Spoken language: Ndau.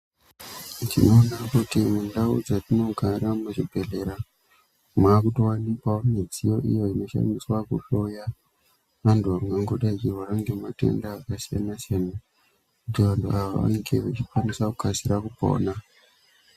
Tinoona kuti mundau dzatinogara muzvibhedhlera mwatowanikwa midziyo iyo inoshandiswa kuhloya antu anenge achizwa matenda akasiyana siyana kuti antu akasire kupona.